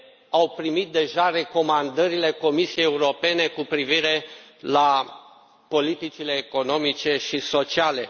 au primit deja recomandările Comisiei Europene cu privire la politicile economice și sociale.